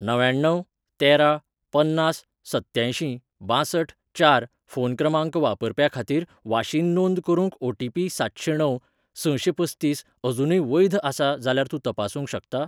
णव्याण्णव तेरा पन्नास सत्यांयशीं बांसठ चार फोन क्रमांक वापरप्या खातीर वाशीन नोंद करूंक ओटीपी सातशेंणव सशेंपस्तीस अजूनय वैध आसा जाल्यार तूं तपासूंक शकता?